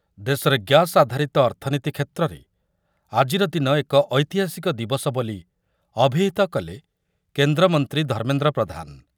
ଦେଶରେ ଗ୍ୟାସ ଆଧାରିତ ଅର୍ଥନୀତି କ୍ଷେତ୍ରରେ ଆଜିର ଦିନ ଏକ ଐତିହାସିକ ଦିବସ ବୋଲି ଅଭିହିତ କଲେ କେନ୍ଦ୍ରମନ୍ତ୍ରୀ ଧର୍ମେନ୍ଦ୍ର ପ୍ରଧାନ ।